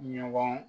Ɲɔgɔn